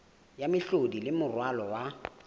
ya mehlodi le moralo wa